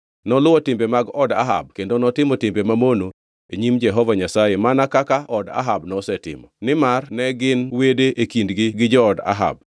Noluwo timbe mag od Ahab kendo notimo timbe mamono e nyim Jehova Nyasaye mana kaka od Ahab nosetimo, nimar ne gin wede e kendgi gi jood Ahab.